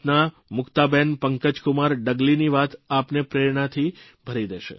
ગુજરાતના મુક્તાબેન પંકજકુમાર ડગલીની વાત આપને પ્રેરણાથી ભરી દેશે